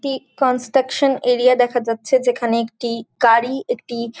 টি construction area দেখা যাচ্ছে। যেখানে একটি গাড়ি একটি --